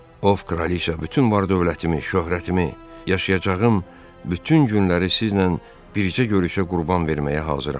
Ov kraliçam, bütün var-dövlətimi, şöhrətimi, yaşayacağım bütün günləri sizlə bircə görüşə qurban verməyə hazıram.